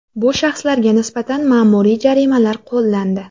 Bu shaxslarga nisbatan ma’muriy jarimalar qo‘llandi.